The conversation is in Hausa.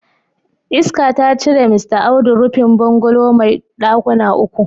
Iska ta cire Mista Audu rufin bungalow mai dakuna uku.